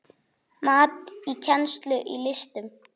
Mat á kennslu í listum